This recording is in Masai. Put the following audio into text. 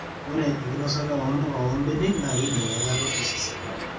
ore enkinosata oo mpuka oo mbenek naa kedong eilata osesen